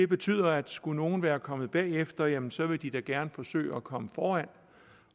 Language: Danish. betyder at skulle nogen være kommet bagefter jamen så vil de da gerne forsøge at komme foran